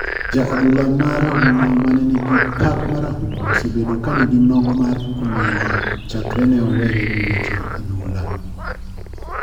Ja adhula ma rahuma mane ni gi pak marahuma, osebedo ka ni gi nok mar omenda chakre ne owere gi weche adhula.